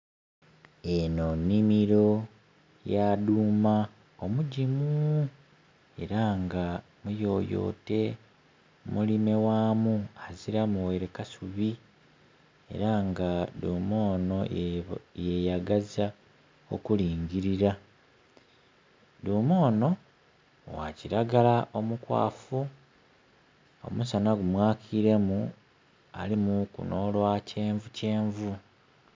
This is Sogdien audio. Enho nhimiro ya dhuma omugimu era nga muyoyote, mulime ghamu aziliramu ghaire kasubi era nga dhuma ono yeyagaza okulingilira. Dhuma ono gha kiragala omukwafu omusana gu mwakiremu alimuku no lwa kyenvukyenvu.